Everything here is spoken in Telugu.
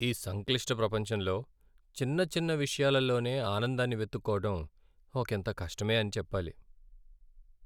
ఈ సంక్లిష్ట ప్రపంచంలో చిన్న చిన్న విషయాలలోనే ఆనందాన్ని వెతుక్కోవడం ఒకింత కష్టమే అని చెప్పాలి.